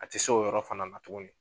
A tɛ se o yɔrɔ fana na tuguni.